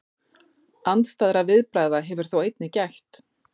Andstæðra viðbragða hefur þó einnig gætt.